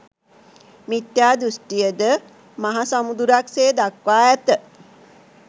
මිථ්‍යා දෘෂ්ටිය ද මහ සමුදුරක් සේ දක්වා ඇත.